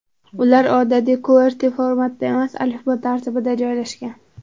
Ular odatiy qwerty-formatda emas, alifbo tartibida joylashgan.